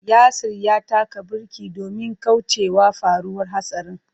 Yasir ya taka birki domin kaucewa faruwar hatsarin.